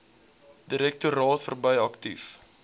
direktoraat verbrei aktief